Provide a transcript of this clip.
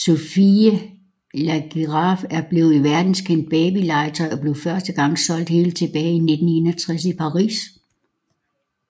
Sophie la Girafe er blevet et verdenskendt baby legetøj og blev første gang solgt helt tilbage i 1961 i Paris